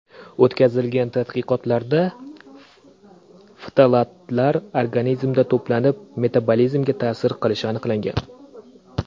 O‘tkazilgan tadqiqotlarda, ftalatlarning organizmda to‘planib metabolizmga ta’sir qilishi aniqlangan.